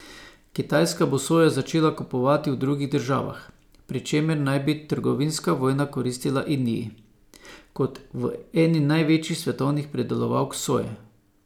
Kitajska bo sojo začela kupovati v drugih državah, pri čemer naj bi trgovinska vojna koristila Indiji kot eni največjih svetovnih pridelovalk soje.